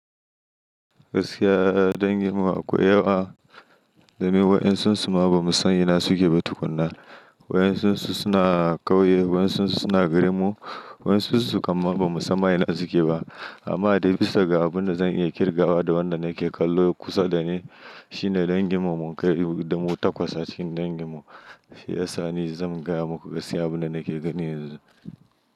Gaskiya danginmu akwai yawa, domin waɗansun su ma ba mu san ina suke ba tukuna. Waɗansun su suna ƙauye, waɗansun su suna garin mu, waɗansun su kam ma ba mu san ma ina suke ba. Amma dai bisa ga abin da zan iya kirgawa da wanda nake kallo kusa da ni, shine danginmu mun kai da mu takwas a cikin danginmu. Shi yasa ni zan gaya muku gaskiya abin da nake gani yanzu.